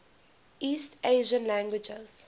east asian languages